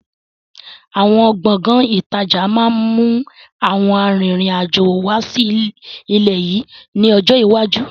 Àwọn Gbọ̀ngán ìtajà máa ma mú àwọn àrin-rìn-àjò wá sí ilẹ̀ yìí ni ọjọ́ iwájú.